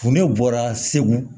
Kun ne bɔra segu